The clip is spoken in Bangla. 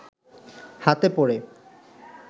হাতে পড়ে